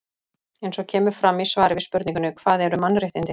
Eins og kemur fram í svari við spurningunni Hvað eru mannréttindi?